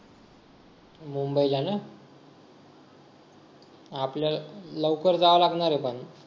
मुंबईला ना आपल्याला लवकर जाव लागणार आहे पण